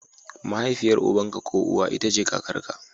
Mahaifiyar uban ka ko uwa ita ce kakarka.